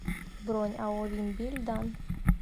бронь ао вимм билль данн